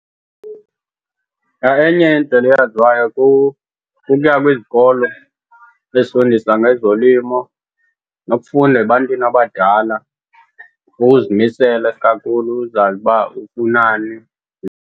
Enye indlela eyaziwayo kukuya kwizikolo ezifundisa ngezolimo nokufunda ebantwini abadala ukuzimisela isikakhulu, uzazi uba ufunani.